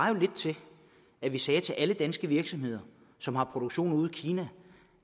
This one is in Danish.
jo lidt til at vi sagde til alle danske virksomheder som har produktion ude i kina